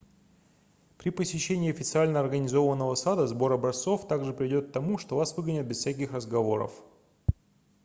при посещении официально организованного сада сбор образцов также приведёт к тому что вас выгонят без всяких разговоров